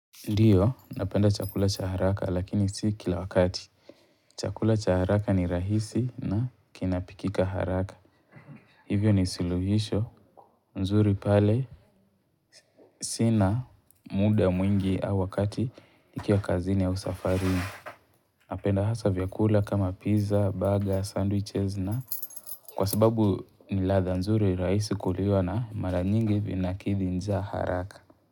Ndio, napenda chakula cha haraka lakini si kila wakati. Chakula cha haraka ni rahisi na kinapikika haraka. Hivyo ni suluhisho, nzuri pale, sina muda mwingi au wakati nikiwa kazini au safarini. Napenda hasaa vyakula kama pizza, burger, sandwiches na kwa sababu ni ladha nzuri rahisi kuliwa na mara nyingi vinakithi njaa haraka.